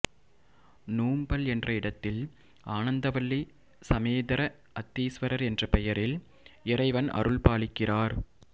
நுாம்பல் என்ற இடத்தில் ஆனந்தவல்லி சமேதர அத்தீஸ்வரா் என்ற பெயாில் இறைவன் அருள்பாலிக்கிறாா்